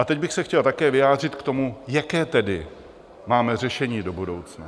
A teď bych se chtěl také vyjádřit k tomu, jaké tedy máme řešení do budoucna.